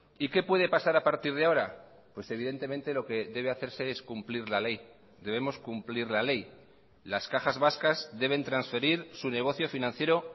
y qué puede pasar a partir de ahora pues evidentemente lo que debe hacerse es cumplir la ley debemos cumplir la ley las cajas vascas deben transferir su negocio financiero